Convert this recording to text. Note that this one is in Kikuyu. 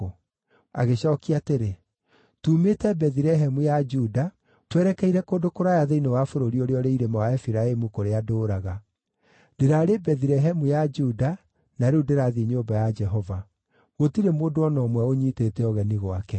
Agĩcookia atĩrĩ, “Tuumĩte Bethilehemu ya Juda twerekeire kũndũ kũraya thĩinĩ wa bũrũri ũrĩa ũrĩ irĩma wa Efiraimu kũrĩa ndũũraga. Ndĩrarĩ Bethilehemu ya Juda na rĩu ndĩrathiĩ nyũmba ya Jehova. Gũtirĩ mũndũ o na ũmwe ũũnyiitĩte ũgeni gwake.